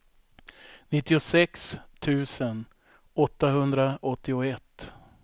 nittiosex tusen åttahundraåttioett